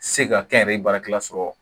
Se ka kɛ n yɛrɛ ye baarakɛla sɔrɔ